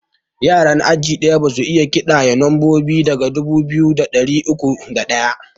Yaran aji ɗaya basu iya ƙidaya lambobi daga dubu biyu da ɗari uku da ɗaya